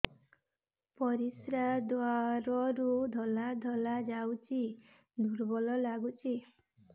ପରିଶ୍ରା ଦ୍ୱାର ରୁ ଧଳା ଧଳା ଯାଉଚି ଦୁର୍ବଳ ଲାଗୁଚି